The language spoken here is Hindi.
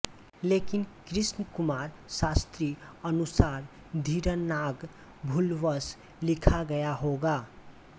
लेकिन कृष्णकुमार शास्त्री अनुसार धीरनाग भूलवश लिखा गया होगा